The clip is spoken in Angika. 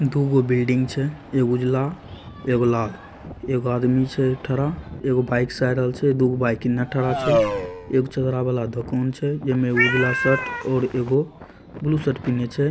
दुगो बिल्डिंग छे एक उजला एक लाल | एक आदमी छे खड़ा एक बाइक से आरहल छै दो बाइक निआ ठहरल छै | एक चदरा वाला दुकान छे जेमे उजला शर्ट और एगो ब्लू शर्ट पहनी हे ।